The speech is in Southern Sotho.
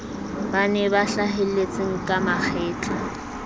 bane ba hlahelletseng ka mahetla